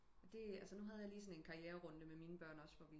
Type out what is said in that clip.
Men det altså nu have jeg lige en karriererundte med mine børn også hvor